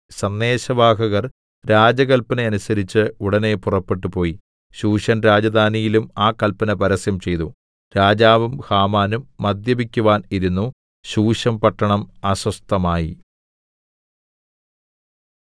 സന്ദേശവാഹകർ രാജകല്പന അനുസരിച്ച് ഉടനെ പുറപ്പെട്ടുപോയി ശൂശൻ രാജധാനിയിലും ആ കല്പന പരസ്യം ചെയ്തു രാജാവും ഹാമാനും മദ്യപിക്കുവാൻ ഇരുന്നു ശൂശൻപട്ടണം അസ്വസ്ഥമായി